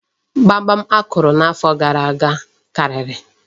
Gbamgbam akụrụ n'afọ gara aga karịrị.